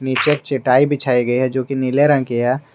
नीचे एक चटाई बिछाई गई है जो कि नीले रंग की है।